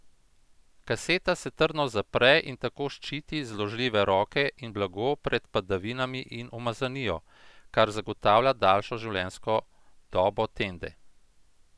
Kaseta se trdno zapre in tako ščiti zložljive roke in blago pred padavinami in umazanijo, kar zagotavlja daljšo življenjsko dobo tende.